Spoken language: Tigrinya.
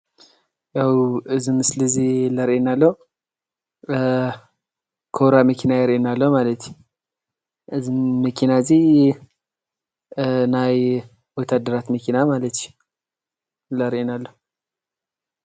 ያው አዚ ምስሊ እዚ ዘርእየና ዘሎ ኮብራ መኪና የርእየና ኣሎ። እዚ መኪና እዚ ናይ ወታደራት መኪና ማለት እዩ ለርእየና ሎ ።